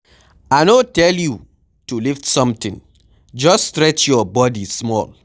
I no tell you yo lift something, just stretch your body small.